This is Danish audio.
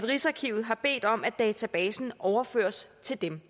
rigsarkivet har bedt om at databasen overføres til dem